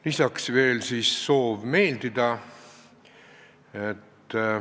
Lisaks oli veel soov meeldida.